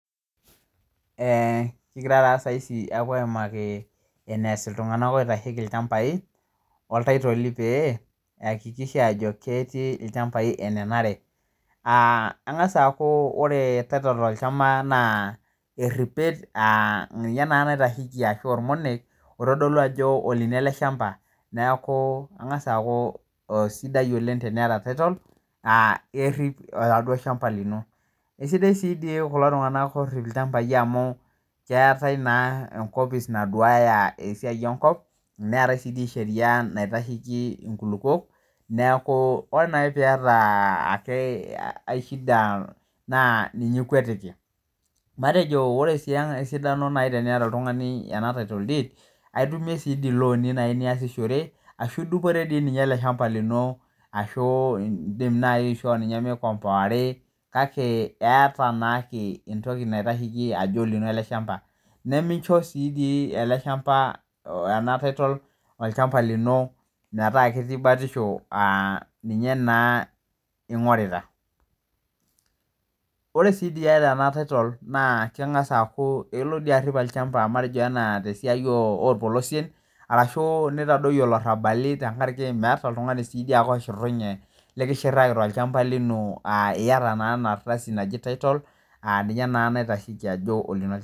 Eee, kigira taa saisi aapo aimaki eneas ltungana oitacheki ilchambai oltaitoli peeakikisha ajo ketii ilchambai enenare, aa engas aaku ore oltaitol ilchamba naa eripet, aa ninye naa naitasheki ashu olmonek oitadolu naa ajo olino ale ichamba, naku engaas aaku esidai oleng tenieta taitol, aa kerip eladuo ilchamba lino. Esidai sii dei kulo tunganak oorip ilchambai amu keatae naa enkopis naduaya esiai enkop, neatae si dei sheria naitasheki enkulupo neaku ore naa ake aishida naa ninye ikwetiki. Matejo ore sii enkae sidano naai teineta oltungani ena taitol diid, aitumie sii dei looni niasishore ashu idupore dei ninye ale ilshamba lino ashu indim naii aishoo ninye meikomboari kake eata naachi entoki naitasheki ajo lino ale ilshamba. Nemincho sii dei ale ilshamba ena taitol olchamba lino metaa ketii batisho aaninye naa ing'orita/ Ore sii dii ieta ena taitol naa kengs aaku ilo dei arip olchamba matejo ena te siai oolpolosien arashu neitadoiyo illarabali tengaraki meata si dei oltungani ake oshurunye nlikisuraki te iilchamba lino aa ieta naa ena ardasi naji taitol a ninye naa naitasheki ajo olino ilchamba.